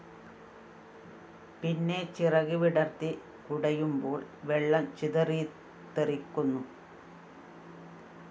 പിന്നെ ചിറക് വിടര്‍ത്തി കുടയുമ്പോള്‍ വെള്ളം ചിതറിത്തെറിക്കുന്നു